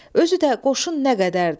Özü də qoşun nə qədərdir!